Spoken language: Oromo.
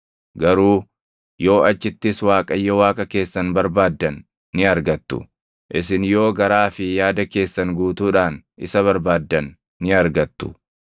Garuu yoo achittis Waaqayyo Waaqa keessan barbaaddan ni argattu; isin yoo garaa fi yaada keessan guutuudhaan isa barbaaddan ni argattu.